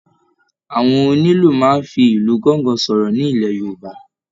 Àwọn onílù máa n fí ìlù gángan sọ̀rọ̀ nílẹ́ Yorùbá.